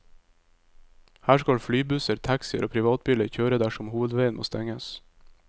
Her skal flybusser, taxier og privatbiler kjøre dersom hovedveien må stenges.